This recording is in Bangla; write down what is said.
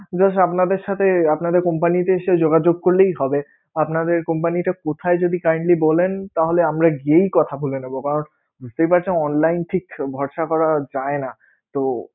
just আপনাদের সাথে আপনাদের company তে এসে যোগাযোগ করলেই হবে? আপনাদের company টা কোথায় যদি kindly বলেন তাহলে আমরা গিয়েই কথা বলে নেবোবা বুঝতেই পারছেন online ঠিক ভরসা করা যায় না তো